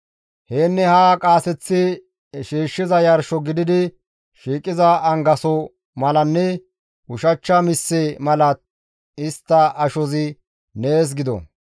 Yaanne haa qaaseththi shiishshiza yarsho gididi shiiqiza angaso malanne ushachcha misse mala istta ashozi nees gido.